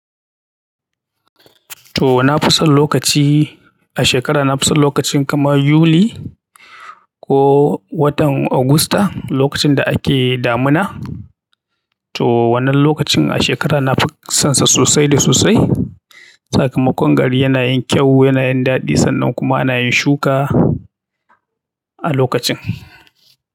To, na fi son lokaci a shekara, na fi son lokacin kamar Yuli ko watan Agusta, lokacin da ake damina. To wannan lokacin a shekara nafi sonsa sosai da sosai sakamakon gari yana yin kyau, yana yin daɗi, sannan kuma ana yin shuka a lokacin.